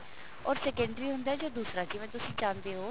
or secondary ਹੁੰਦਾ ਹੈ ਉਹ ਦੂਸਰਾ ਜਿਵੇਂ ਤੁਸੀਂ ਚਾਹੁੰਦੇ ਹੋ